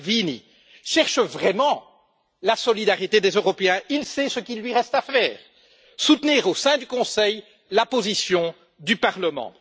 Salvini cherche vraiment la solidarité des Européens, il sait ce qu'il lui reste à faire soutenir au sein du Conseil la position du Parlement.